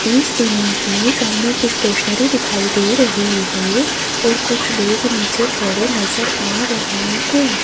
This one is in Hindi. इस इमेज में सामने एक स्टेशनरी दिखाई दे रही है और कुछ लोग नीचे खड़े नजर आ रहे हैं।